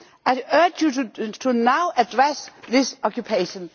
I urge you to now address this occupation.